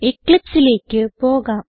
Eclipseലേക്ക് പോകാം